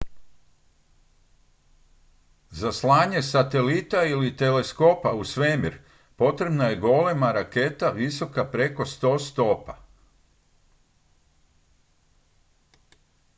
za slanje satelita ili teleskopa u svemir potrebna je golema raketa visoka preko 100 stopa